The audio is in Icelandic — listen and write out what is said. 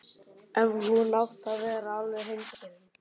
Ef hún átti að vera alveg hreinskilin.